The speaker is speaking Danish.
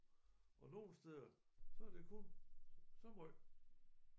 Og nogle steder så det kun så højt